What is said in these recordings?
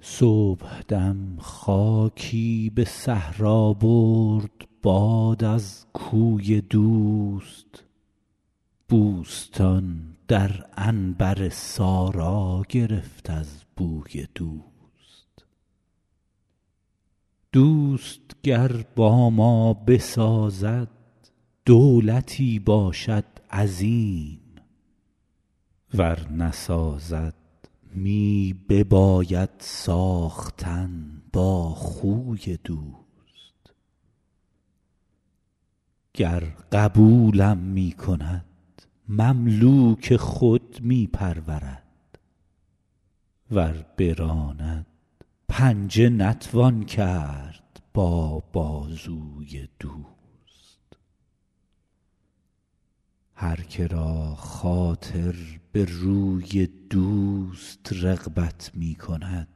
صبحدم خاکی به صحرا برد باد از کوی دوست بوستان در عنبر سارا گرفت از بوی دوست دوست گر با ما بسازد دولتی باشد عظیم ور نسازد می بباید ساختن با خوی دوست گر قبولم می کند مملوک خود می پرورد ور براند پنجه نتوان کرد با بازوی دوست هر که را خاطر به روی دوست رغبت می کند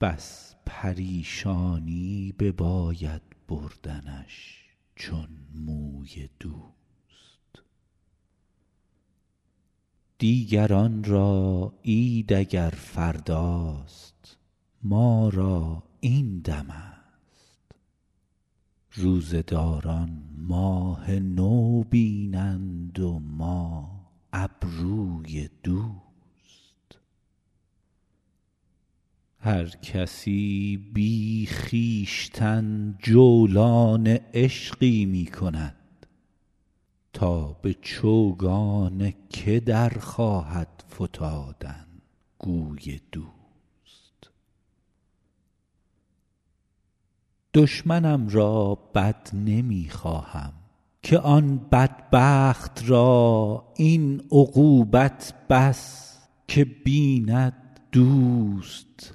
بس پریشانی بباید بردنش چون موی دوست دیگران را عید اگر فرداست ما را این دمست روزه داران ماه نو بینند و ما ابروی دوست هر کسی بی خویشتن جولان عشقی می کند تا به چوگان که در خواهد فتادن گوی دوست دشمنم را بد نمی خواهم که آن بدبخت را این عقوبت بس که بیند دوست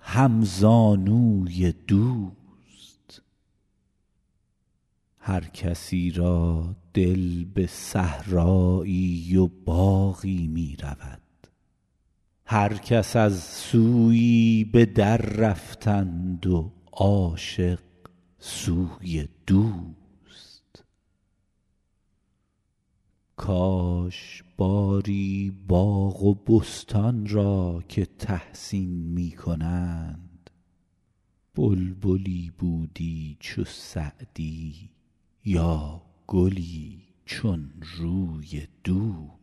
همزانوی دوست هر کسی را دل به صحرایی و باغی می رود هر کس از سویی به دررفتند و عاشق سوی دوست کاش باری باغ و بستان را که تحسین می کنند بلبلی بودی چو سعدی یا گلی چون روی دوست